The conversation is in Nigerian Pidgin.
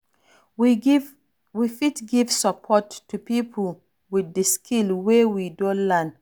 We fit give support to pipo with di skill wey we don learn